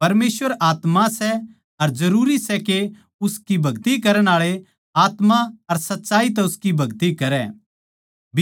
परमेसवर आत्मा सै अर जरूरी सै के उसकी भगति करण आळे आत्मा अर सच्चाई तै उसकी भगति करै